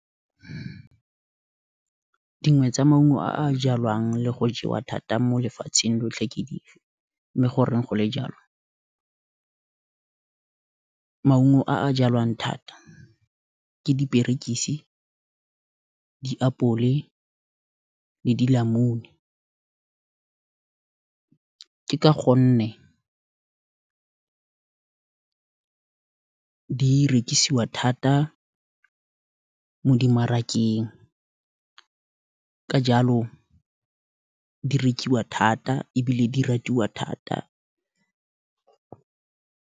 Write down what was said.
Dingwe tsa maungo a a jalwang le go jewa thata mo lefatsheng lotlhe ke di fe, mme goreng go le jalo, maungo a jalwang thata ke diperekisi, diapole, le dilamune, ke ka gonne ke rekisiwa thata mo dimarakeng, ka jalo, di rekiwa thata, ebile di ratiwa thata.